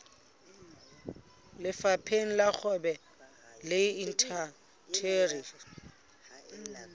lefapheng la kgwebo le indasteri